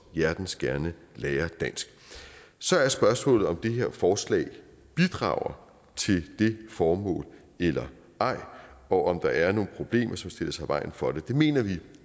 hjertens gerne lære dansk så er spørgsmålet om det her forslag bidrager til det formål eller ej og om der er nogle problemer som stiller sig i vejen for det det mener vi